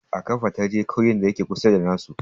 A ƙafa ta je ƙauyen da ya ke kusa da na su